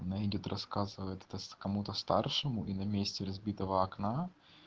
она идёт рассказывает это кому-то старшему и на месте разбитого окна